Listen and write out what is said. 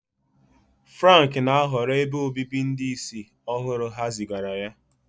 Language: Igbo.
Frank na-ahọrọ ebe obibi ndị ìsì ọhụrụ ha zigara ya.